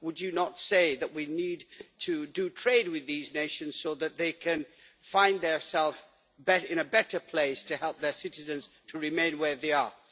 Would you not say that we need to trade with these nations so that they can find themselves in a better place to help their citizens to remain where they are?